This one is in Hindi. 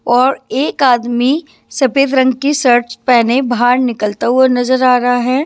और एक आदमी सफेद रंग की शर्ट्स पहने बाहर निकलता हुआ नजर आ रहा है।